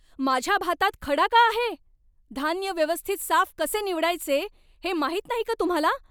माझ्या भातात खडा का आहे? धान्य व्यवस्थित साफ कसे निवडायचे हे माहीत नाही का तुम्हाला?